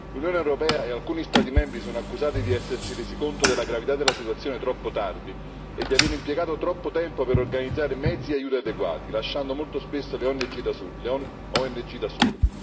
L'Unione europea e alcuni Stati membri sono accusati di essersi resi conto della gravità della situazione troppo tardi e di avere impiegato troppo tempo per organizzare mezzi e aiuti adeguati, lasciando molto spesso le ONG da sole.